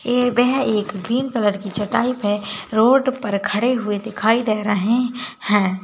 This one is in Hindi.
ये वह एक ग्रीन कलर की चटाई है रोड पर खड़े हुए दिखाई दे रहे हैं।